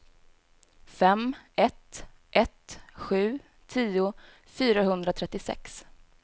fem ett ett sju tio fyrahundratrettiosex